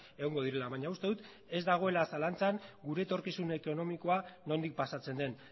egongo direla baina uste dut ez dagoela zalantzan gure etorkizun ekonomikoa nondik pasatzen den